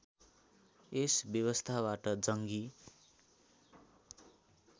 यस व्यवस्थाबाट जङ्गी